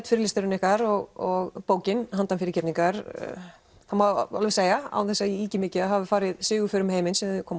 fyrirlesturinn ykkar og bókin handan fyrirgefningar það má alveg segja án þess að ég ýki mikið að hafi farið sigurför um heiminn síðan þau komu